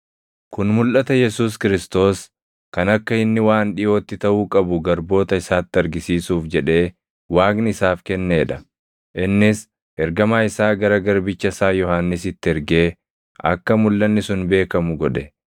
Kun mulʼata Yesuus Kiristoos, kan akka inni waan dhiʼootti taʼuu qabu garboota isaatti argisiisuuf jedhee Waaqni isaaf kennee dha. Innis ergamaa isaa gara garbicha isaa Yohannisitti ergee akka mulʼanni sun beekamu godhe;